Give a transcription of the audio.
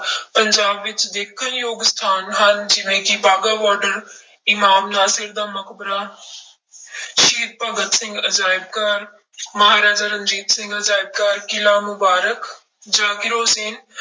ਪੰਜਾਬ ਵਿੱਚ ਦੇਖਣ ਯੋਗ ਸਥਾਨ ਹਨ ਜਿਵੇਂ ਕਿ ਬਾਗਾ ਬਾਰਡਰ, ਇਮਾਮ ਨਾਸਿਰ ਦਾ ਮਕਬਰਾ ਸ਼ਹੀਦ ਭਗਤ ਸਿੰਘ ਅਜ਼ਾਇਬ ਘਰ ਮਹਾਰਾਜਾ ਰਣਜੀਤ ਸਿੰਘ ਅਜ਼ਾਇਬ ਘਰ, ਕਿਲ੍ਹਾ ਮੁਬਾਰਕ, ਜ਼ਾਕਿਰ ਹੁਸ਼ੈਨ